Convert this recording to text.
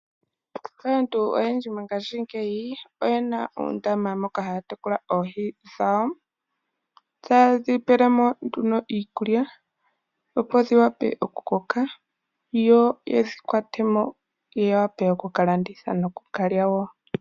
Aantu momikunda oyena uudhiya momagumbo moka haya tekula oohi, ohadhi pewa iikulya opo dhi koke. Ngele odha koko ohadhi hugwa mo etadhi landithwa, nenge dhi gandje oshiyelelwa kaanegumbo.